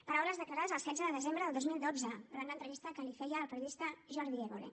paraules declarades el setze de desembre del dos mil dotze durant una entrevista que li feia el periodista jordi évole